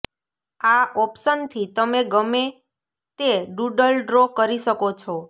આ ઓપ્શનથી તમે ગમે તે ડૂડલ ડ્રો કરી શકો છો